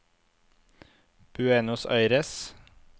Buenos Aires